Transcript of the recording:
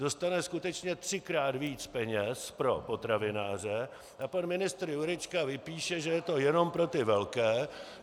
Dostane skutečně třikrát více peněz pro potravináře a pan ministr Jurečka vypíše, že je to jenom pro ty velké.